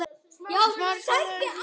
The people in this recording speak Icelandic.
Ólöf Inga.